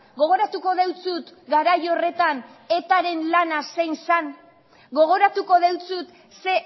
gogoratuko dizut garai horretan etaren lana zein zen gogoratuko dizut ze